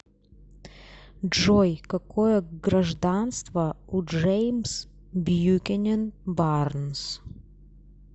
джой какое гражданство у джеймс бьюкенен барнс